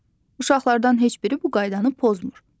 Uşaqlardan heç biri bu qaydanı pozmur.